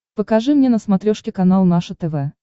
покажи мне на смотрешке канал наше тв